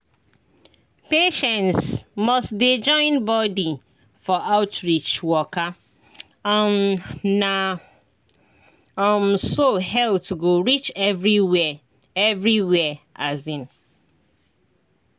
patients must dey join body for outreach waka um na um so health go reach everywhere. everywhere. um